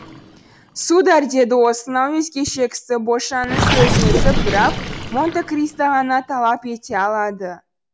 сударь деді осынау өзгеше кісі бошанның сөзін үзіп граф монте кристо ғана талап ете алады